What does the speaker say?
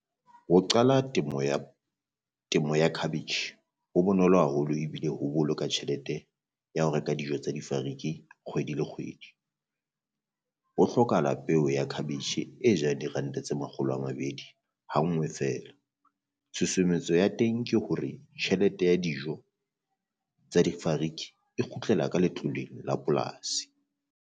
Ho qala temo ya temo cabbage ho bonolo haholo ebile ho boloka tjhelete ya ho reka dijo tsa difariki kgwedi le kgwedi. Ho hlokahala peo ya cabbage e jang diranta tse makgolo a mabedi hangwe feela, tshosometso ya teng ke hore tjhelete ya dijo tsa difariki e kgutlela ka letloleng la polasi.